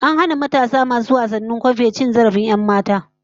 An hana matasan masu wasan kwambe cin zarafin 'yanmata